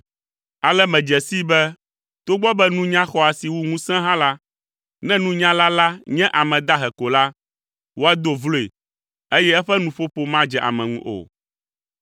Ale medze sii be togbɔ be nunya xɔ asi wu ŋusẽ hã la, ne nunyala la nye ame dahe ko la, woado vloe eye eƒe nuƒoƒo madze ame ŋu o.